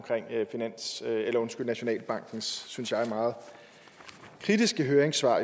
nationalbankens synes jeg meget kritiske høringssvar